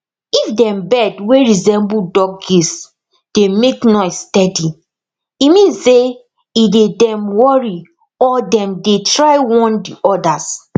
if dem bird wey resemble duckgeesedey make noise steady e mean say e dey dem worry or dem dey try warn de odas